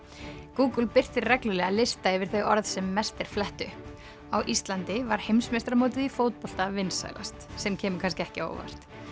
Google birtir reglulega lista yfir þau orð sem mest er flett upp á Íslandi var heimsmeistaramótið í fótbolta vinsælast sem kemur kannski ekki á óvart